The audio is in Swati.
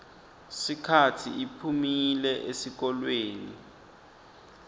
sikhatsi iphumile esihlokweni